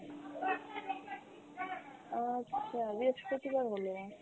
আচ্ছা বৃহস্পতিবার হল